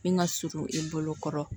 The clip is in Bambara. Min ka surun i bolo kɔrɔ